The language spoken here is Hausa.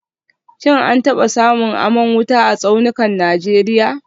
Shin an taba samun aman wuta a tsaunukan Najeriya